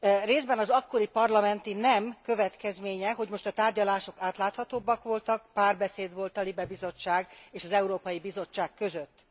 Részben az akkori parlamenti nem következménye, hogy most a tárgyalások átláthatóbbak voltak, párbeszéd volt a LIBE Bizottság és az Európai Bizottság között.